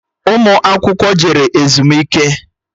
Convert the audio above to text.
Ụmụ akwụkwọ jere ezumike